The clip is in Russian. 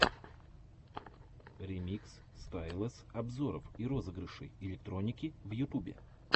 ремикс стайлэс обзоров и розыгрышей электроники в ютубе